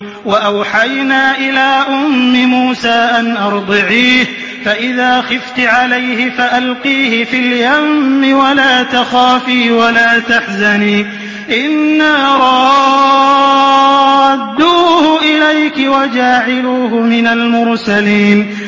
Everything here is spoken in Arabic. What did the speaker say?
وَأَوْحَيْنَا إِلَىٰ أُمِّ مُوسَىٰ أَنْ أَرْضِعِيهِ ۖ فَإِذَا خِفْتِ عَلَيْهِ فَأَلْقِيهِ فِي الْيَمِّ وَلَا تَخَافِي وَلَا تَحْزَنِي ۖ إِنَّا رَادُّوهُ إِلَيْكِ وَجَاعِلُوهُ مِنَ الْمُرْسَلِينَ